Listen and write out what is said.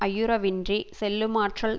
ஐயுற வின்றிச் செல்லுமாற்றால்